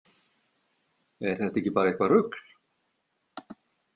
Er þetta ekki bara eitthvað rugl?